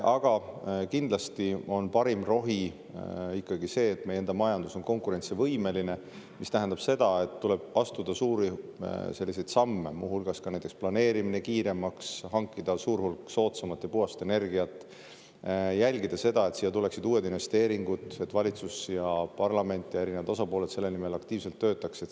Aga kindlasti on parim rohi ikkagi see, et meie enda majandus on konkurentsivõimeline, mis tähendab seda, et tuleb astuda suuri samme, muu hulgas näiteks planeerimine kiiremaks, hankida suur hulk soodsamat ja puhast energiat, jälgida seda, et siia tuleksid uued investeeringud, et valitsus ja parlament ja erinevad osapooled selle nimel aktiivselt töötaks.